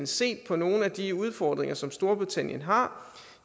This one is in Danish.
set på nogle af de udfordringer som storbritannien har